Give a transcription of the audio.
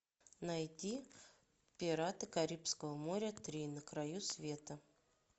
найти пираты карибского моря три на краю света